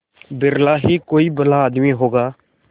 बिरला ही कोई भला आदमी होगा